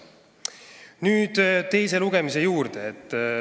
Nüüd teise lugemise juurde.